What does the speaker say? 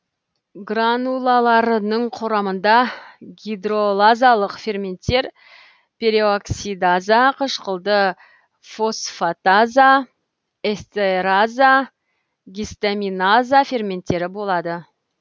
гранулаларының құрамында гидролазалық ферменттер пероксидаза қышқылды фосфатаза эстераза гистаминаза ферменттері болады